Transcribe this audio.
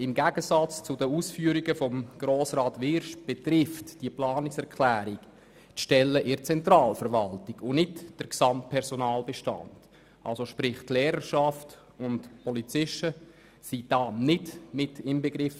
Im Gegensatz zu den Ausführungen von Grossrat Wyrsch betrifft diese Planungserklärung die Stellen in der Zentralverwaltung und nicht den gesamten Personalbestand, das heisst die Lehrerschaft und die Polizisten sind nicht inbegriffen.